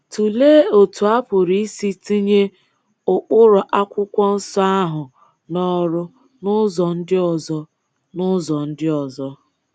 Tụlee otu a pụrụ isi tinye ụkpụrụ Akwụkwọ Nsọ ahụ n’ọrụ n’ụzọ ndị ọzọ. n’ụzọ ndị ọzọ.